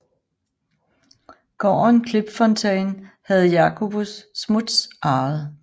Gården Klipfontein havde Jacobus Smuts arvet